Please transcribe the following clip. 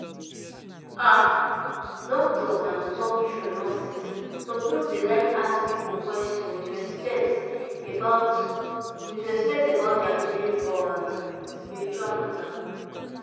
ah! doctors and to talk true nurses suppose dey like ask people question with respect about with respect about dia believe for um spiritual matter.